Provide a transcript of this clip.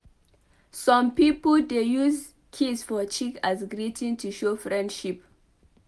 Some pipo dey use kiss for cheek as greeting to show friendship